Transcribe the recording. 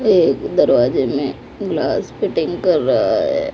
ये दरवाजे में ग्लास फिटिंग कर रहा हैं।